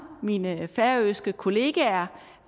mine færøske kollegaer